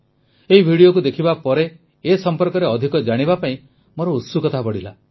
ଏହି ଭିଡିଓକୁ ଦେଖିବା ପରେ ଏ ସମ୍ପର୍କରେ ଅଧିକ ଜାଣିବା ପାଇଁ ମୋର ଉତ୍ସୁକତା ବଢ଼ିଲା